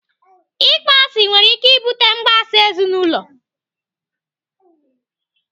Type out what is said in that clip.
Ịkpọ asị nwere ike ibute mgbasa ezinaụlọ.